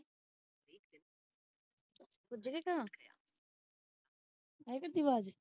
ਪੁਝ ਗਈ ਘਰ ਆਇਆ ਕਰਦੀ ਵਾਜ਼